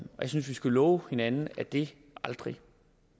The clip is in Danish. skal love hinanden at det aldrig